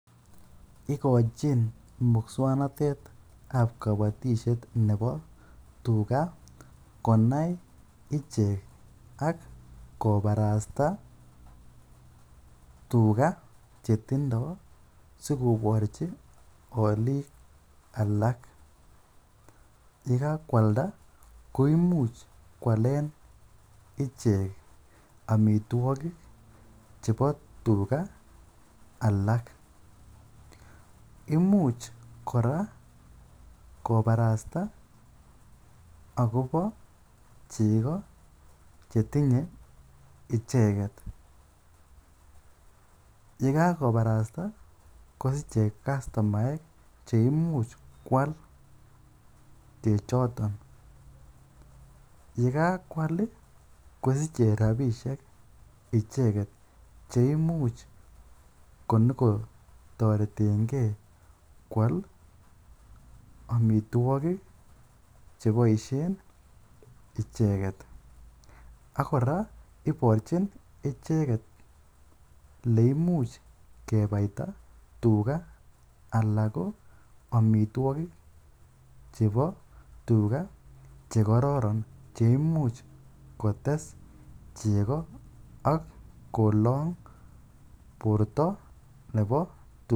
Igochin muswaknatet ab kobotisiet nebo tuga konai ichek ak kobarasta tuga che tindo sikorchi olik alak. Ye kagoalda koimuch koalen ichek amitwogik chebo tuga alak. Imuch kora kobrasta agobo chego chetinye icheget. Ye kagobarasta kosich ichek kastomaek che imuch koal chechoto. Ye kagoal kosiche rabishek icheget che imuch konyoko toreten ge koal amitwogik cheboisien icheget. Ak kora iborchin icheget ele imuch kebaita tuga ala ko amitwogik chebo tuga che kororon che imuch kotes ak kolong borto nebo tuga.